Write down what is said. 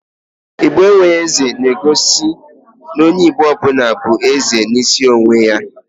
"Igbo enwe eze" na egosi n'onye Igbo ọbụla bụ eze n'isi onwe ya